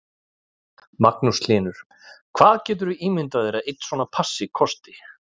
Magnús Hlynur: Hvað getur þú ímyndað þér að einn svona passi kosti?